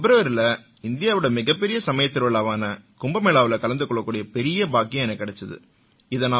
பிப்ர்வரியில இந்தியாவோட மிகப்பெரிய சமயத் திருவிழாவான கும்பமேளாவுல கலந்து கொள்ளக்கூடிய பெரிய பாக்கியம் எனக்குக் கிடைச்சுது